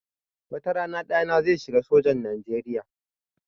Wata rana ɗana zai shiga sojan Nijeriya